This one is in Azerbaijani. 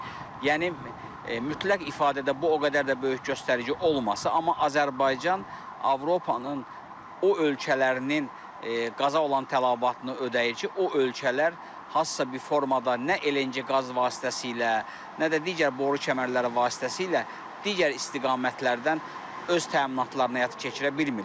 Yəni mütləq ifadədə bu o qədər də böyük göstərici olmasa, amma Azərbaycan Avropanın o ölkələrinin qaza olan tələbatını ödəyir ki, o ölkələr hansısa bir formada nə LNG qaz vasitəsilə, nə də digər boru kəmərləri vasitəsilə digər istiqamətlərdən öz təminatlarını həyata keçirə bilmirlər.